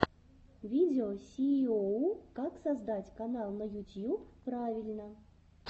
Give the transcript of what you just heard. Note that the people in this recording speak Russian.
видео сииоу как создать канал на ютьюб правильно